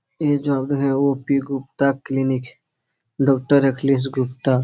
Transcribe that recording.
ये हैं O P Gupta clinic doctor Akhilesh Gupta --